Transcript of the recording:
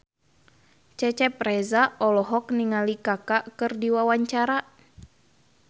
Cecep Reza olohok ningali Kaka keur diwawancara